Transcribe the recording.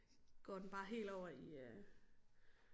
Går den bare helt over i øh